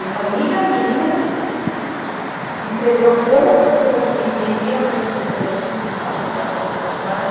E uma amiga minha... Que escreveu... Que escreveu como o professor que queria, mercantilismo é isso, pá, pá, pá, pá, pá, pá, pá.